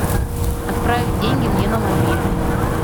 отправить деньги мне на мобильный